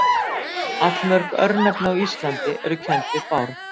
Allmörg örnefni á Íslandi eru kennd við Bárð.